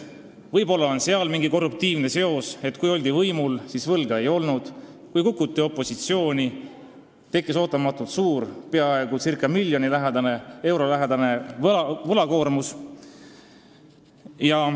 Võib-olla on seal mingi korruptiivne seos: kui oldi võimul, siis võlga ei olnud, kui kukuti opositsiooni, siis tekkis ootamatult suur, peaaegu miljoni euro lähedane võlakoormus.